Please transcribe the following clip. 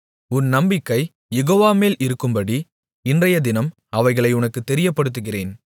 உன் நம்பிக்கை யெகோவாமேல் இருக்கும்படி இன்றையதினம் அவைகளை உனக்குத் தெரியப்படுத்துகிறேன்